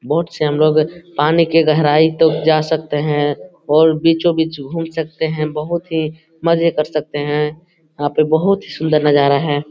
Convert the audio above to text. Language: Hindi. बहुत से हम लोग पानी की गहराई तक जा सकते हैं और बीचो बीच घूम सकते हैं बहुत ही मजे कर सकते हैं | यहाँ पे बहुत सुंदर नजारा है ।